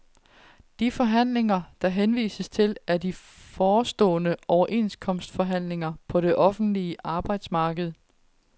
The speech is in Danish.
De forhandlinger, der henvises til, er de forestående overenskomstforhandlinger på det offentlige arbejdsmarked.